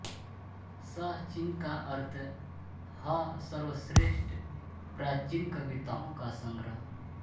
श चिंह का अर्थ ह सर्वश्रेष्ठ प्राचीन कविताओं का संग्रह